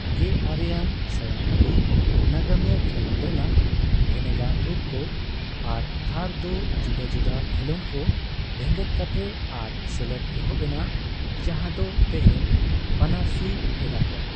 ᱜᱮᱟᱨᱮ ᱟᱱ ᱥᱟᱭᱟᱝ ᱦᱟᱹᱵᱤᱡ, ᱱᱟᱜᱟᱢᱤᱭᱟᱹ ᱠᱷᱮᱞᱚᱸᱰ ᱨᱮᱱᱟᱜ ᱵᱷᱮᱱᱮᱜᱟᱨ ᱨᱩᱯ ᱠᱚ ᱟᱨ ᱛᱷᱟᱨ ᱫᱚ ᱡᱩᱫᱟᱹᱼᱡᱩᱫᱟᱹ ᱠᱷᱮᱞᱚᱸᱰ ᱠᱚ ᱵᱷᱮᱜᱮᱫ ᱠᱟᱛᱮ ᱟᱨ ᱥᱮᱞᱮᱫ ᱮᱦᱚᱵ ᱮᱱᱟ ᱡᱟᱸᱦᱟ ᱫᱚ ᱛᱮᱸᱦᱮᱧ ᱯᱟᱹᱱᱟᱹᱨᱥᱤ ᱮᱫᱟᱠᱚ᱾